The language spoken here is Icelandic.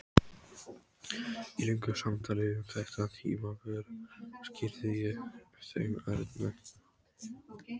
Í löngu samtali um þetta tímabil skýrði ég þeim Erni